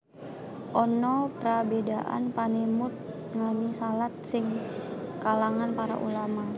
Ana prabédan panemut ngenani shalat iki ing kalangan para ulama